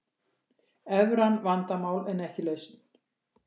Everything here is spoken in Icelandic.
Evran vandamál en ekki lausn